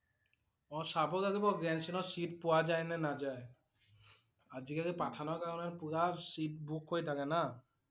অ' চাব লাগিব Grand Cine ত seat পোৱা যায় নে নাযায় আজিকালি Pathan ৰ কাৰণে পুৰা seat book হৈ থাকে না